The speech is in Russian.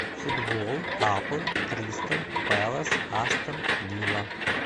футбол апл кристал пэлас астон вилла